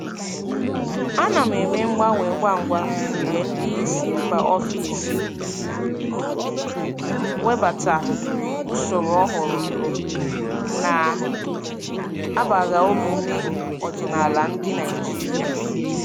Ana m eme mgbanwe ngwa ngwa mgbe ndị isi mba ofesi webata usoro ọhụrụ na-agbagha omume ọdịnala ndị Naijiria.